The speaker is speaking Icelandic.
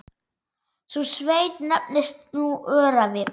Sú sveit nefnist nú Öræfi.